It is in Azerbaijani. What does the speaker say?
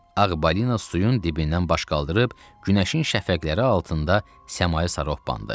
Ağ balina suyun dibindən baş qaldırıb günəşin şəfəqləri altında səmaya sarı hopandı.